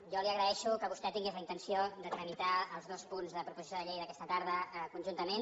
jo li agraeixo que vostè tingués la intenció de tramitar els dos punts de la proposició de llei d’aquesta tarda conjuntament